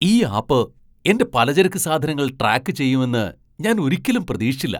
ഈ ആപ്പ് എന്റെ പലചരക്ക് സാധനങ്ങൾ ട്രാക്ക് ചെയ്യുമെന്ന് ഞാൻ ഒരിക്കലും പ്രതീക്ഷിച്ചില്ല.